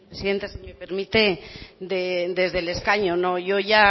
sí gracias señora presidenta si me permite desde el escaño yo ya